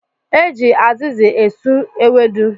E ji azịzị asụ ewedu